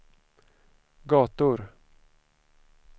gator